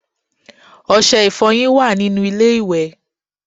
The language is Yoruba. Ọṣẹ ìfọyín wà nínú ilé ìwẹ̀